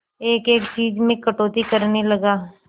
एक एक चीज में कटौती करने लगा